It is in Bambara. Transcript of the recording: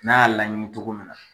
N'a y'a laɲini cogo min na.